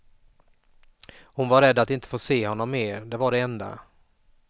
Hon var rädd att inte få se honom mer, det var det enda.